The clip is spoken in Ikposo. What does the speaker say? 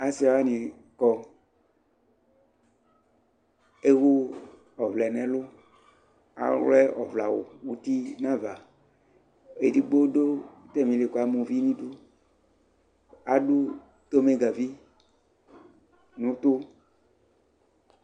asii wani kɔ, ɛwʋɔvlɛ nʋ ɛlʋ kʋ awlɛ ɔvlɛ awʋ ʋti nʋ aɣa, ɛdigbɔ dʋ atamili kʋ ama ʋvi nʋ idʋ adʋ tʋnʋgavi nʋ ʋtʋ